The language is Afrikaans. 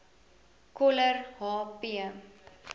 coller h p